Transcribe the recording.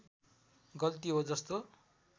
गल्ती हो जस्तो